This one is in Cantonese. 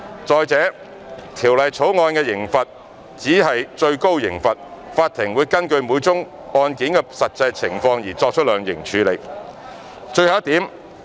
再者，《條例草案》的刑罰只是最高刑罰，法庭會根據每宗案件的實際情況而量刑。